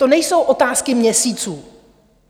To nejsou otázky měsíců.